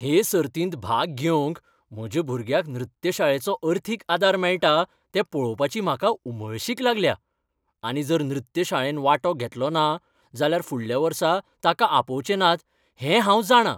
हे सर्तींत भाग घेवंक म्हज्या भुरग्याक नृत्य शाळेचो अर्थीक आदार मेळटा तें पळोवपाची म्हाका उमळशीक लागल्या आनी जर नृत्य शाळेन वांटो घेतलो ना जाल्यार फुडल्या वर्सा तांकां आपोवचे नात हें हांव जाणां.